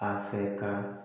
A fɛ ka